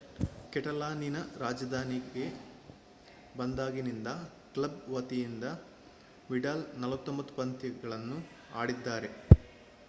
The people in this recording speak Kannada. ಕೆಟಲಾನಿನ ರಾಜಧಾನಿಗೆ ಬಂದಾಗಿನಿಂದ ಕ್ಲಬ್ ವತಿಯಿಂದ ವಿಡಾಲ್ 49 ಪಂದ್ಯಗಳನ್ನು ಆಡಿದ್ದಾರೆ